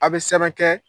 A' bɛ sɛbɛn kɛ